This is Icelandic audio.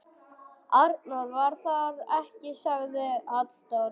Arnór var þar ekki, sagði Halldór.